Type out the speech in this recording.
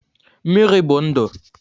Mmiri bụ ndụ